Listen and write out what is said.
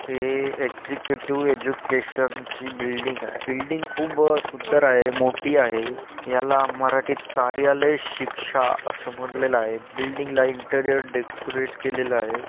हे executive education ची building आहे. बिल्डिंग खूप सुंदर आहे मोठी आहे याला मराठीत कार्यालय शिक्षा आस म्हणेलेल आहे बिल्डिंग ला इंटिरियर डेकोरेट केलेला आहे.